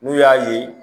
N'u y'a ye